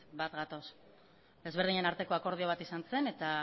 bat gatoz desberdinen arteko akordio bat izan zen eta